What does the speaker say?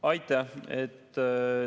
Aitäh!